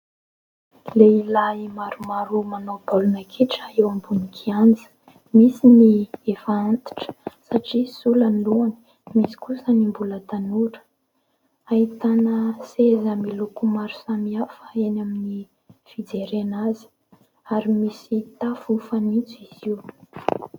Lehilahy maromaro manao baolina kitra eo ambony kianja, Misy ny efa antitra satria sola ny loany, misy kosa ny mbola tanora, ahitana seza miloko maro samihafa eny amin'ny fijerena azy ary misy tafo fanintso izy io.